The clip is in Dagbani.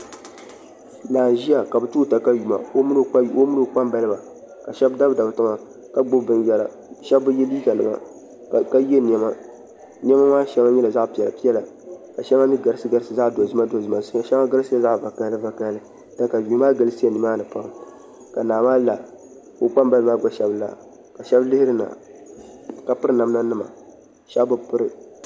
Naa n ʒiya ka bi too katawiya o mini i kpambaliba ka shab dabidabi tiŋa ka gbubi binyɛra shab bi yɛ liiga nima ka yɛ niɛma niɛma maa shɛŋa nyɛla zaɣ piɛla piɛla ka shɛŋa mii garisi garisi zaɣ dozima dozima shɛŋa garisila zaɣ vakaɣali vakaɣali katayuu maa galisiya nimaani pam ka naa maa la ka o kpambalibi maa gba shab la ka shab lihirina ka piri namda nima shab bi piri